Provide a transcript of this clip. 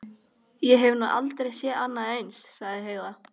Ég hef nú aldrei séð annað eins, sagði Heiða.